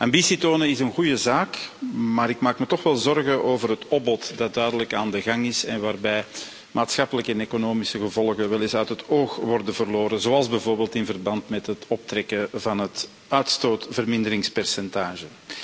Ambitie tonen is een goede zaak, maar ik maak me toch wel zorgen over het opbod dat duidelijk aan de gang is en waarbij maatschappelijke en economische gevolgen weleens uit het oog worden verloren, zoals bijvoorbeeld in verband met het optrekken van het uitstootverminderingspercentage.